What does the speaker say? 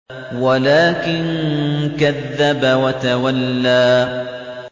وَلَٰكِن كَذَّبَ وَتَوَلَّىٰ